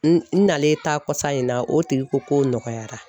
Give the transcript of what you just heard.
N n nalen taa kɔsan in na o tigi ko k'o nɔgɔyara .